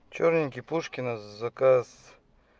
чёрненький пушкина заказ